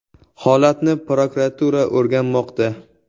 Holatni prokuratura o‘rganmoqda.